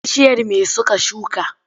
Bishiyar me suka shuka?